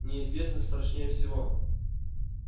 неизвестность страшнее всего